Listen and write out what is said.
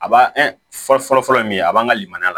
A b'a fɔlɔ fɔlɔ min a b'an ka limaniya